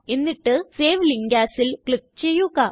എന്നിട്ട് save link Asല് click ചെയ്യുക